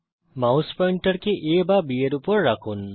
mouse পয়েন্টারকে A বা B এর উপর রাখুন